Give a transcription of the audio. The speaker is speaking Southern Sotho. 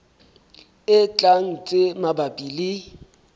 e tlang tse mabapi le